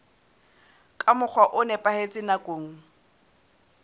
ka mokgwa o nepahetseng nakong